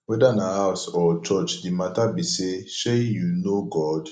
weda na house or church the mata be say shey yu know god